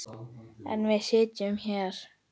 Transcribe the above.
En við sitjum hér